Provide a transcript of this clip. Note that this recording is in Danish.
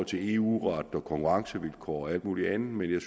til eu ret konkurrencevilkår og alt muligt andet men jeg